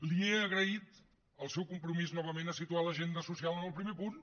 li he agraït el seu compromís novament a situar l’agenda social en el primer punt